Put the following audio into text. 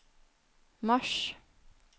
mars